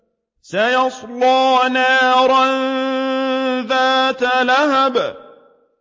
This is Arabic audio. سَيَصْلَىٰ نَارًا ذَاتَ لَهَبٍ